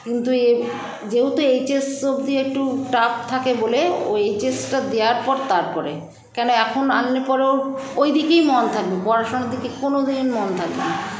কিন্তু এপ যেহেতু hs অবধি একটু tough থাকে বলে ও hs - টা দেওয়ার পর তারপরে কেন এখন আনলে পরে ওর ঐদিকেই মন থাকবে পড়াশোনার দিকে কোনোদিন মন থাকবেনা